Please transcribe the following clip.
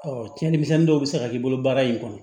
cɛnimisɛnnin dɔw bɛ se ka k'i bolo baara in kɔnɔ